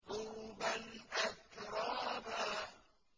عُرُبًا أَتْرَابًا